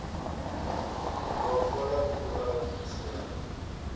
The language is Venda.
wa fola u a tshinyadza